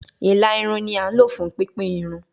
Ila irun ni a lo fun pipin irun